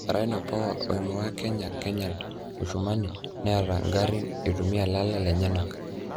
Rhino power oingua kenya kenyal mushumani neyiataa ngarin eitumia lala lenyenak.